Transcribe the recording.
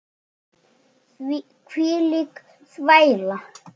Hvílík þvæla.